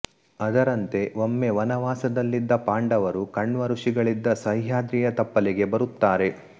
ಅದರಂತೆ ಒಮ್ಮೆ ವನವಾಸದಲ್ಲಿದ್ದ ಪಾಂಡವರು ಕಣ್ವ ಋಷಿಗಳಿದ್ದ ಸಹ್ಯಾದ್ರಿಯ ತಪ್ಪಲಿಗೆ ಬರುತ್ತಾರೆ